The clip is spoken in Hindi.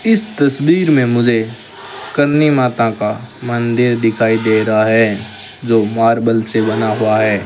इस तस्वीर में मुझे करणी माता का मंदिर दिखाई दे रहा है जो मार्बल से बना हुआ है।